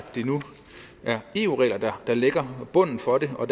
eu regler der lægger bunden for det og